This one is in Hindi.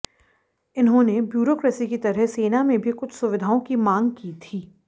इन्होंने ब्यूरोक्रेसी की तरह सेना में भी कुछ सुविधाओं की मांग की थी